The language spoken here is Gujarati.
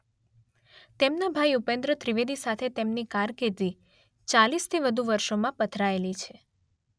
તેમનાં ભાઇ ઉપેન્દ્ર ત્રિવેદી સાથે તેમની કારકિર્દી ચાલીસથી વધુ વર્ષોમાં પથરાયેલી છે.